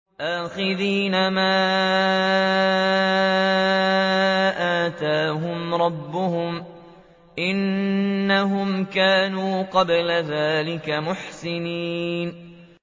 آخِذِينَ مَا آتَاهُمْ رَبُّهُمْ ۚ إِنَّهُمْ كَانُوا قَبْلَ ذَٰلِكَ مُحْسِنِينَ